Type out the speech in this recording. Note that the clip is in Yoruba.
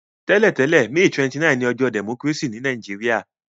Tẹ́lẹ̀tẹ̀lẹ́, May 29 ni ojọ́ democracy ni Naijiria